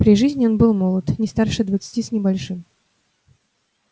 при жизни он был молод не старше двадцати с небольшим